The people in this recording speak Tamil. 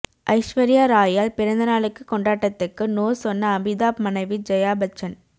ஐஸ்வர்யா ராய் யால் பிறந்தநாளுக்கு கொண்டாட்டத்துக்கு நோ சொன்ன அமிதாப் மனைவி ஜெயாபச்சன்